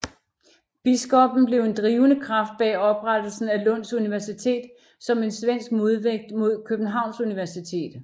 Biskoppen blev en drivende kraft bag oprettelsen af Lunds universitet som en svensk modvægt mod Københavns universitet